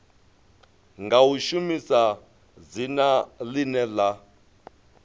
nga shumisa dzina ḽine ḽa